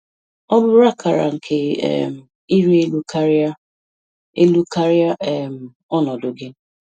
Ọ bụ akara nke um ịrị elu karịa elu karịa um ọnọdụ gị.